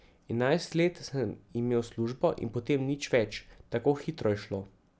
Enajst let sem imel službo in potem nič več, tako hitro je šlo.